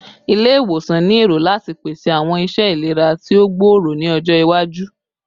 Ile-iwosan ni ero lati pese awọn iṣẹ ilera ti o gbooro ni ọjọ iwaju